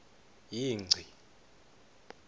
yingci